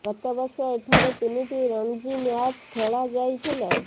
ଗତ ବର୍ଷ ଏଠାରେ ତିନିଟି ରଣଜୀ ମ୍ୟାଚ୍ ଖେଳା ଯାଇଥିଲା